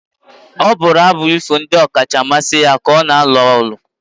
ọ bụrụ abụ ifo ndị ọkacha mmasị ya ka ọ na-alụ ọgụ